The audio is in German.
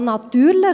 Ja, natürlich!